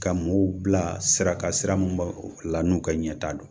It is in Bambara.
Ka mɔgɔw bila sira kan sira mun b'aw la n'u ka ɲɛtaa don.